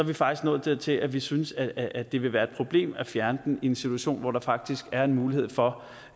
vi faktisk nået dertil at vi synes at at det vil være et problem at fjerne den i en situation hvor der faktisk er en mulighed for